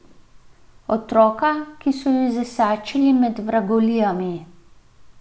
Otroka, ki so ju zasačili med vragolijami.